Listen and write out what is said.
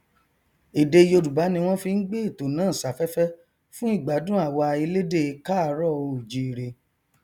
èdè yorùbá ni wọn fi n gbé ètò náà safẹfẹ fún ìgbádùn àwa elédè káàárọoòjíire